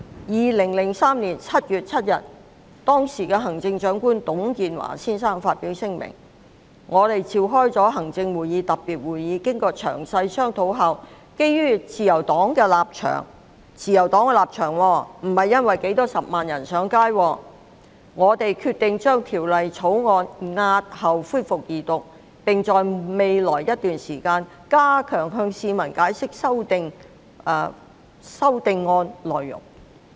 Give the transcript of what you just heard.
2003年7月7日，時任行政長官董建華先生發表聲明，表示已召開行政會議特別會議，"經過詳細商討後，基於自由黨的立場，"——是基於自由黨的立場，而非數十萬人上街——"我們決定將條例草案押後恢復二讀，並在未來一段時間加強向市民解釋修訂案內容"。